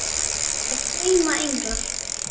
Upp af sveima englar.